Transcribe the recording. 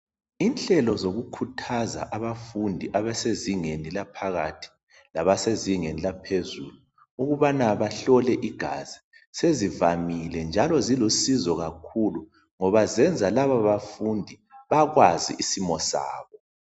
Inhlelo zokukhuthaza abasezingeni laphakathi, labasezingeni laphezulu, ukubana bahlole igazi sezivamile njalo zilusizo kakhuluu, ngoba ziyenza labo bafundi bakwazi isimo sabo.